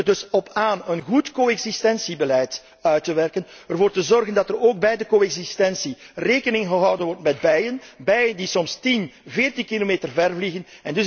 Het komt er dus op aan een goed co existentiebeleid uit te werken, ervoor te zorgen dat er ook bij de co existentie rekening gehouden wordt met bijen, bijen die soms tien, veertien kilometer ver vliegen.